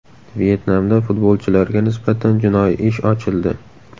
Vyetnamda futbolchilarga nisbatan jinoiy ish ochildi.